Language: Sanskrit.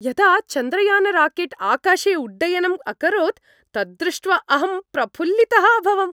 यदा चन्द्रयानराकेट् आकाशे उड्डयनम् अकरोत् तद्दृष्ट्वा अहं प्रफुल्लितः अभवम्।